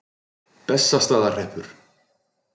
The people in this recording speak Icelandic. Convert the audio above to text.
Bessastaðahreppi